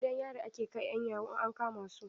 Gidan yari ake kai 'yan yahoo in an kama su.